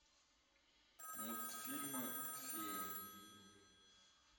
мультфильмы феи